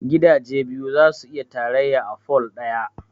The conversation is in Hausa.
Gidaje biyu zasu iya tarayya a pole ɗaya